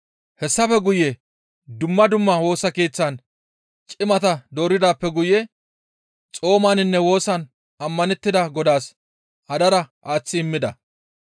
Hessafe guye dumma dumma Woosa Keeththatan cimata dooridaappe guye xoomaninne woosan ammanettida Godaas hadara aaththi immida.